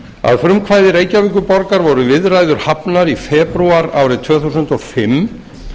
að frumkvæði reykjavíkurborgar voru viðræður hafnar í febrúar árið tvö þúsund og fimm